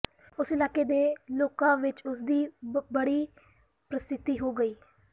ਉਸ ਇਲਾਕੇ ਦੇ ਲੋਕਾਂ ਵਿਚ ਉਸ ਦੀ ਬੜੀ ਪ੍ਰਸਿੱਧੀ ਹੋ ਗਈ